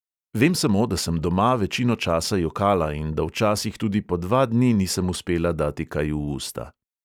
Vem samo, da sem doma večino časa jokala in da včasih tudi po dva dni nisem uspela dati kaj v usta.